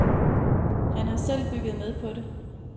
Han har selv bygget med på det.